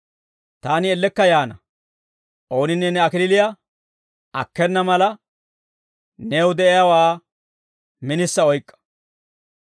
Taani ellekka yaana; ooninne ne kalachchaa akkena mala, new de'iyaawaa minisa oyk'k'a.